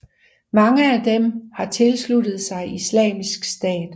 Mange af dem har tilsluttet sig Islamisk Stat